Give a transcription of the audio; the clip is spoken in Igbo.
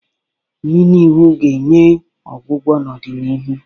Mmịnwụ ga-enwe ọgwụgwọ n'ọdịnihu.